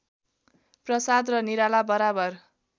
प्रसाद र निराला बराबर